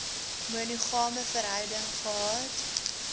monogame verhouding gehad